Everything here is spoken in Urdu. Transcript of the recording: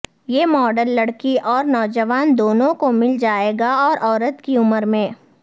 یہ ماڈل لڑکی اور نوجوان دونوں کو مل جائے گا اور عورت کی عمر میں